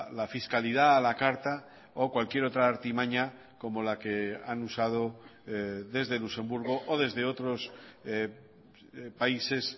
la fiscalidad a la carta o cualquier otra artimaña como la que han usado desde luxemburgo o desde otros países